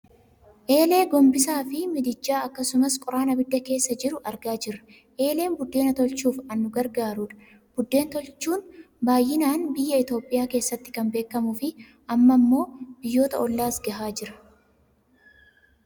Eelee, gombisaa fi midijjaa akasumas qoraan abidda keessa jiru argaa jirra . eeleen buddeena tolchuuf an nu gargaarudha. buddeen tolchuun baayyinaan biiya Itooiyaa keessatti kan beekkamuufi amma amma ammoo biyyoota ollaas gahaa jira.